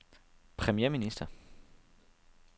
premierminister